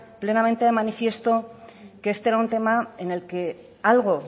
plenamente de manifiesto que este era un tema en el que algo